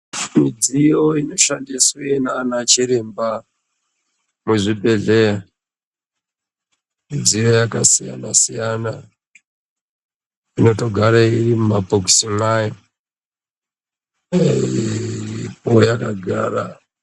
Midziyo inoshandiswe nanachiremba muzvibhedhleya, midziyo yakasiyana-siyana, inotogare irimumabhokisi mwayo, iripo yakagara.